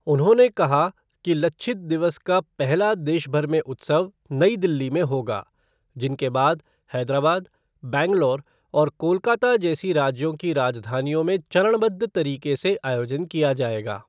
उन्होंने कहा कि 'लच्छित दिवस' का पहला देश भर में उत्सव नई दिल्ली में होगा, जिनके बाद हैदराबाद, बैंगलोर और कोलकाता जैसी राज्यों की राजधानियों में चरणबद्ध तरीके से आयोजन किया जाएगा।